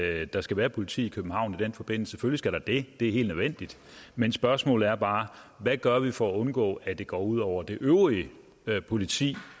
at der skal være politi i københavn i den forbindelse selvfølgelig skal der det det er helt nødvendigt men spørgsmålet er bare hvad gør vi for at undgå at det går ud over det øvrige politi